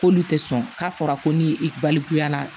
K'olu tɛ sɔn k'a fɔra ko ni i balikuya